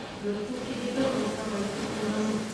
өрттің себебі отты абайсыз қолдану